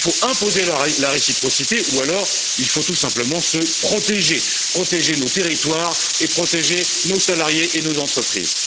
Il faut imposer la réciprocité, ou alors il faut tout simplement nous protéger, protéger nos territoires et protéger nos salariés et nos entreprises.